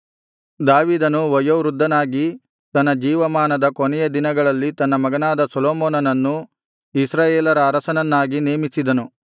ದಾವೀದನು ವಯೋವೃದ್ಧನಾಗಿ ತನ್ನ ಜೀವಮಾನದ ಕೊನೆಯ ದಿನಗಳಲ್ಲಿ ತನ್ನ ಮಗನಾದ ಸೊಲೊಮೋನನನ್ನು ಇಸ್ರಾಯೇಲರ ಅರಸನನ್ನಾಗಿ ನೇಮಿಸಿದನು